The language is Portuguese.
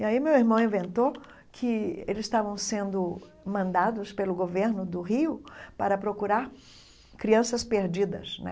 E aí meu irmão inventou que eles estavam sendo mandados pelo governo do Rio para procurar crianças perdidas, né?